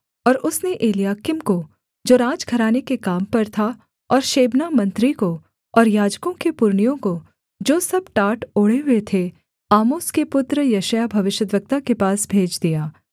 और उसने एलयाकीम को जो राजघराने के काम पर था और शेबना मंत्री को और याजकों के पुरनियों को जो सब टाट ओढ़े हुए थे आमोस के पुत्र यशायाह भविष्यद्वक्ता के पास भेज दिया